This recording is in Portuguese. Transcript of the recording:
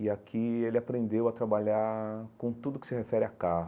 E aqui ele aprendeu a trabalhar com tudo que se refere a carro.